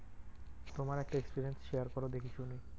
তোমার একটা experience share করো দেখি শুনি।